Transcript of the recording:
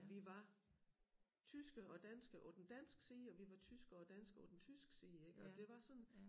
At vi var tyske og danske på den danske side og vi var tyske og danske på den tyske side ik og det var sådan